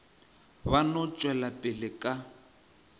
ba no tšwela pele ka